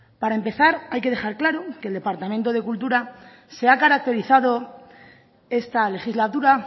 para empezar hay que dejar claro que el departamento de cultura se ha caracterizado esta legislatura